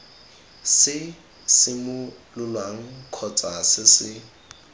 se simololwang kgotsa se se